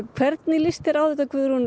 hvernig lýst þér á þetta Guðrún